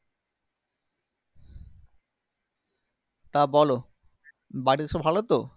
তা বলো বাড়ির সব ভালো তো?